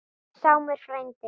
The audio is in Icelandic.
Sámur frændi